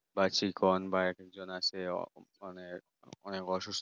বা চিকন বা একজন আছে মানে অনেক অনেক অসুস্থ